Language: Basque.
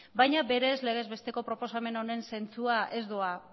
baina berez legez besteko proposamen honen zentzua ez doa